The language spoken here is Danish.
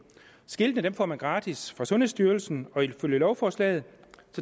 skiltene får man gratis af sundhedsstyrelsen og ifølge lovforslaget